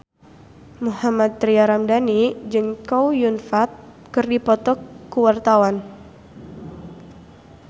Mohammad Tria Ramadhani jeung Chow Yun Fat keur dipoto ku wartawan